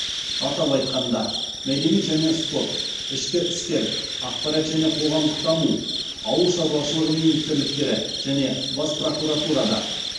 атап айтқанда мәдениет және спорт ішкі істер ақпарат және қоғамдық даму ауыл шаруашылығы министрліктері және бас прокуратурада